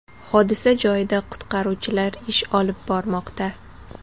Hodisa joyida qutqaruvchilar ish olib bormoqda.